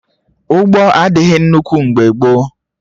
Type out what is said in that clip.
Ụgbọ adịghị nnukwu mgbe gboo